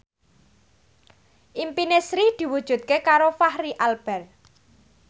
impine Sri diwujudke karo Fachri Albar